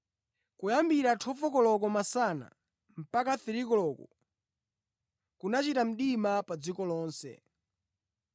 Kuyambira 12 koloko masana mpaka 3 koloko, kunachita mdima pa dziko lonse.